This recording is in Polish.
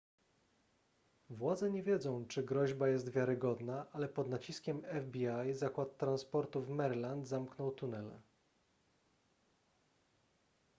władze nie wiedzą czy groźba jest wiarygodna ale pod naciskiem fbi zakład transportu w maryland zamknął tunele